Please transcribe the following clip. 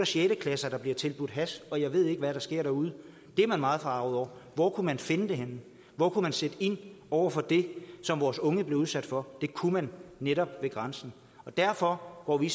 sjette klasser der bliver tilbudt hash og jeg ved ikke hvad der sker derude det er man meget forarget over hvor kunne man finde det henne hvor kunne man sætte ind over for det som vores unge bliver udsat for det kunne man netop ved grænsen og derfor går vi